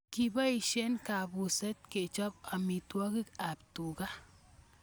Kipoishe kapuset kechop amitwogik ab tuga